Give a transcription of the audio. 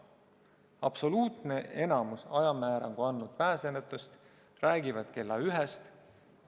Absoluutne enamik ajamäärangu andnud pääsenutest räägivad kella ühest.